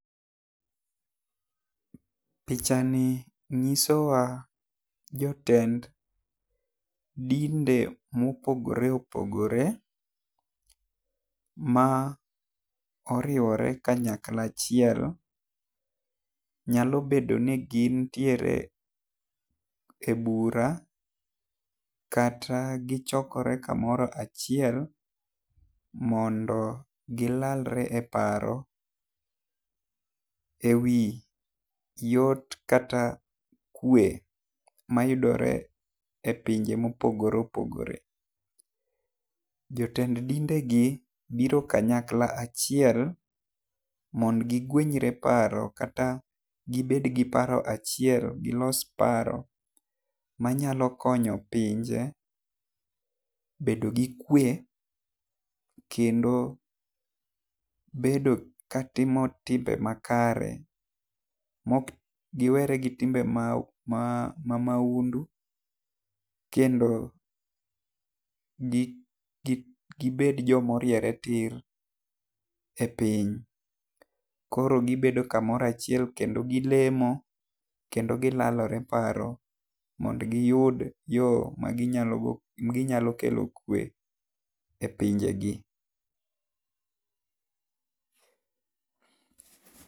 Picha ngiso wa jotend dinde ma opogore opogore ma oriwore kanyakla achiel, nyalo bedo ni gin tiere e bura kata gi chokore ka moro achiel mondo gi lalre e paro e wi yot kata kwe ma yudore e pinje ma opogore opogore. Jotend dinde gi biro kanyakla achilel mondo gi gwenyre e paro kata gi bed gi paro achiel gi los paro ma nyalo konyo pinje bedo gi kwe kendo bedo ka timo timbe makare ma ok gi were gi timbe ma maundu kendo gi bed jo ma orieere tir e piny. Koro gi bedo ku moro achiel kendo gi lemo kendo gi lalore paro mondo gi yud yo ma gi nyalo go gi nyalo kelo kwe e pinje gi.